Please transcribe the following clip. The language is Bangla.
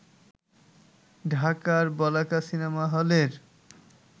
ঢাকার বলাকা সিনেমা হলের